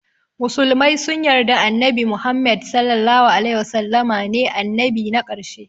Musulmai sun yarda annabi muhammed (SAW) ne annabi na karshe